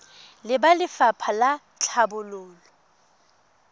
le ba lefapha la tlhabololo